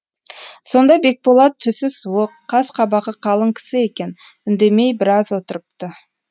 сонда бекболат түсі суық қас қабағы қалың кісі екен үндемей біраз отырыпты